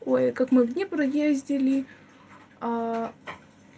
ой как мы в днепр ездили